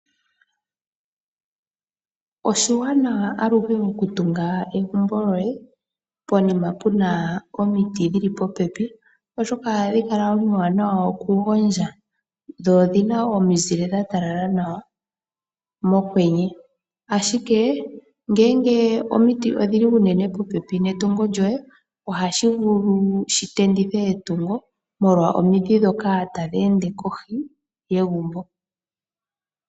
Oshiwanawa aluhe oku tunga egumbo lyoye poyima pu na omiti dhili popepi oshoka ohadhi kala omiwanawa okugondja, dho odhi na omunzile dha talala nawa mokwenye. Ashike ngeke omiti odhili unene popepi netungo lyoye, ohashi vulu shi tendithe etungo molwa omidhi ndhoka tadhi ende kohi yegumbo.